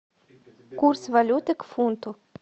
курс валюты к фунту